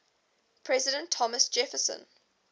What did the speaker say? president thomas jefferson